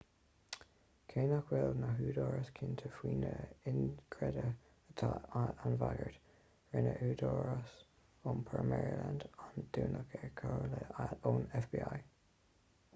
cé nach bhfuil na húdaráis cinnte faoina inchreidte atá an bhagairt rinne údarás iompair maryland an dúnadh ar chomhairle ón fbi